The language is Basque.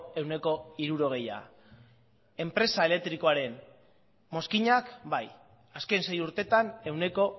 ehuneko hirurogeia enpresa elektrikoen mozkinak bai azken sei urtetan ehuneko